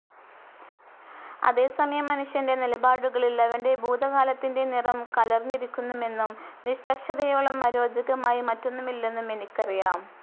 അതേസമയം മനുഷ്യന്റെ നിലപാടുകളിൽ അവന്റെ ഭൂതകാലത്തിന്റെ നിറം കലർന്നിരിക്കുമെന്നും നിഷ്പക്ഷതയോളം അരോചകമായി മറ്റൊന്നുമില്ലെന്നും എനിക്കറിയാം.